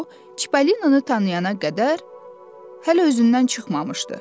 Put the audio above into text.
O, Çipolinonu tanıyana qədər hələ özündən çıxmamışdı.